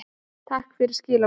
Takk fyrir skilaboðin.